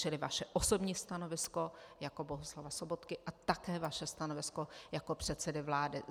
Čili vaše osobní stanovisko jako Bohuslava Sobotky a také vaše stanovisko jako předsedy vlády.